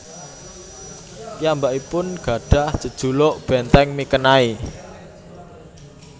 Piyambakipun gadhah jejuluk Benteng Mikenai